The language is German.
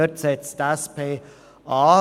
Dort setzt die SP-JUSO-PSA-Fraktion an.